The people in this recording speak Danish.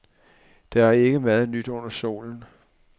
Der er ikke meget nyt under solen.